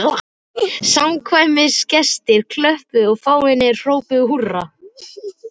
Samkvæmisgestir klöppuðu og fáeinir hrópuðu húrra.